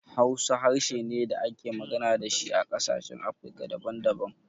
Hausa harshe ne da ake magana da shi a ƙasashen Afirika daban daban.